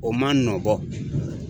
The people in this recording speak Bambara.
O man nɔn bɔ.